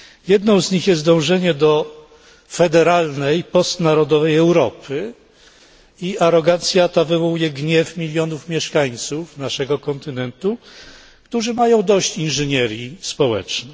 Jedną z nich jest dążenie do federalnej, postnarodowej Europy i arogancja ta wywołuje gniew milionów mieszkańców naszego kontynentu, którzy mają dość inżynierii społecznej.